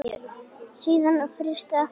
Síðan frysti aftur.